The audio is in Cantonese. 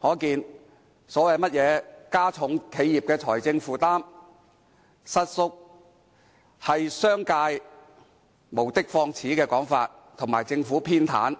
可見有關加重企業財政負擔的論點，實屬商界無的放矢的說法，以及政府偏袒